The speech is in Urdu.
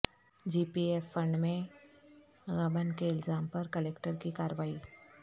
جی پی ایف فنڈ میں غبن کے الزام پر کلکٹر کی کارروائی